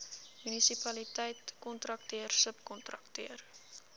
munisipaliteit kontrakteur subkontrakteur